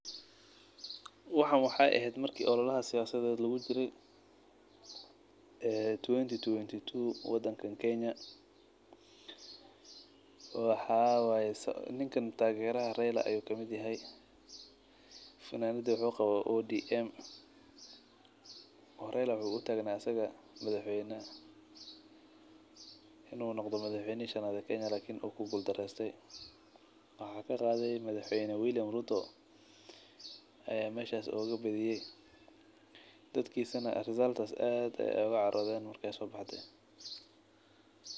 Waxan wexee ehed marki ololaha siyasaded lagu jire ee tuwenti tuwenti tu wadankan kenya waxaa waye ninkan tageraha reila ayu kamiid yahay funamada muxu kawa ODM oo raila wuxuu utagna asaga madhax weyna in u noqdo madhax weynihi shanaad ee kenya lakin wu ku gul dareste waxaa kaqade madaxweyne William ruto aya meshas oga badiyey dadkisana result kas aad ayey oga carodhen marki ee sobaxdey.